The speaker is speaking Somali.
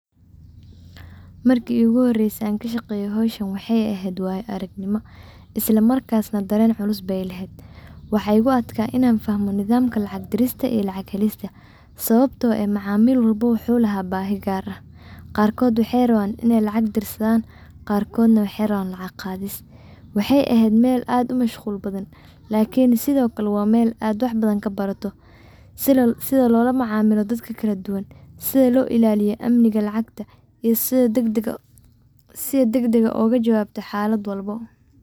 Markii igu horeyse aan kaa shaqeyo howshan waxay ehet waayo aragniimo islaa markas na daren culus bey lehet waxa igu atkaa inan fahamo nidaamka lacag lacag diristaa iyo lacag helista sawabto eeh macamiil wlbo wuxu laha baahi gaar ah qarkod waxey rawan iney lacag dirsadan qarkodna waxey rawan lacag qadiis waxey ehet mel aad uu mashqul badan lakiin sido kale waa mel aad wax badan kaa barato sidaa lola macamiilo dadka kala duwaan sida loo ilaliiyo amniga lacagta iyo sidaa dagdaga sida dagdaga oga jawabto xalaad walbo.